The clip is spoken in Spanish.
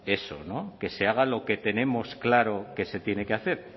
eso que se haga lo que tenemos claro que se tiene que hacer